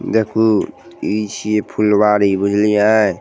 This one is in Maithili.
देखूं इ छिये फुलवारी बुझलिए।